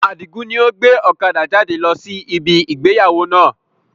Adigun ni ó gbé ọ̀kadà jáde lọ sí ibi ìgbéyàwó náà